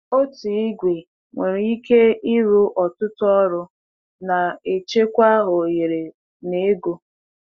Otu igwe nwere ike ịrụ ọtụtụ ọrụ, na-echekwa ohere na ego.